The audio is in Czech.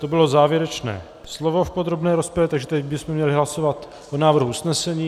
To bylo závěrečné slovo v podrobné rozpravě, takže teď bychom měli hlasovat o návrhu usnesení.